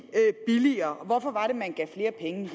billigere og hvorfor var det at man gav flere penge